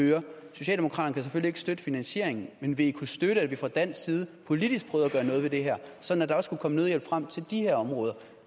socialdemokraterne kan selvfølgelig ikke støtte finansieringen men ville i kunne støtte at vi fra dansk side politisk prøvede at gøre noget ved det her sådan at der også kunne komme nødhjælp frem til de her områder